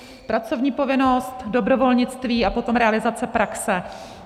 Pracovní povinnost, dobrovolnictví a potom realizace praxe.